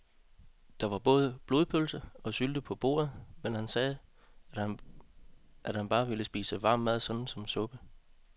Der var både blodpølse og sylte på bordet, men han sagde, at han bare ville spise varm mad såsom suppe.